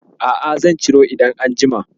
A'a, zan ciro idan an jima.